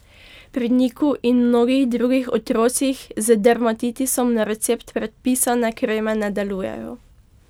Pri Niku in mnogih drugih otrocih z dermatitisom na recept predpisane kreme ne delujejo.